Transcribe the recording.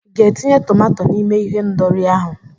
I ga-etinye tomato n'ime ihendori ahụ?